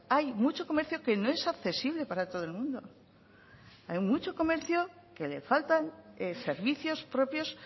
hay mucho comercio que no es accesible para todo el mundo hay mucho comercio que le faltan servicios propios